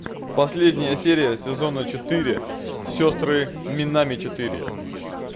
последняя серия сезона четыре сестры минами четыре